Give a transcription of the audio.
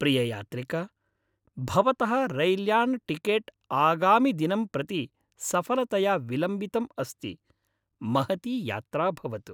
प्रिययात्रिक, भवतः रैल्यानटिकेट् आगामिदिनं प्रति सफलतया विलम्बितम् अस्ति, महती यात्रा भवतु।